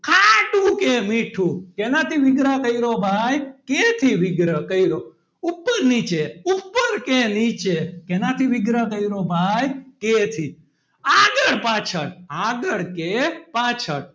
ખાટું કે મીઠું શેનાથી વિગ્રહ કર્યો ભાઈ કે થી વિગ્રહ કર્યો ઉપર નીચે ઉપર કે નીચે શેનાથી વિગ્રહ કર્યો ભાઈ કે થી આગળ પાછળ આગળ કે પાછળ,